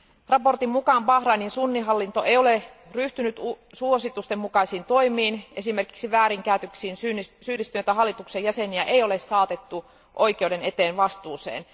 Raportin mukaan Bahrainin sunnihallinto ei ole ryhtynyt suositusten mukaisiin toimiin, esimerkiksi väärinkäytöksiin syyllistyneitä hallituksen jäseniä ei ole saatettu oikeuden eteen vastuuseen.